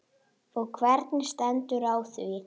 Og hvernig stendur á því?